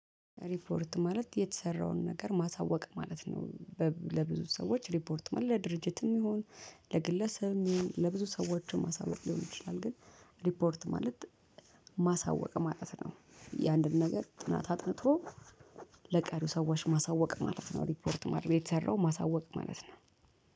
ሪፖርት ማለት የተሰራውን ነገር ማሳወቅ ማለት ነው። ለብዙ ሰዎች ሪፖርት ለድርጅትም ይሁን ለግለሰብ ይሁን ለብዙ ሰዎችም ማሳወቅ ሊሆን ይችላል። ግን ሪፖርት ማለት ማሳወቅ ማለት ነው። ያንድን ነገር ጥናት አጥንቶ ለቀሪው ሰዎች ማሳወቅ ማለት ነው። ሪፖርት ማድረግ የተሰራው ማሳወቅ ማለት ነው።